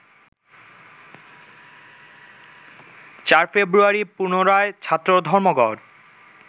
৪ February পুনরায় ছাত্র ধর্মঘট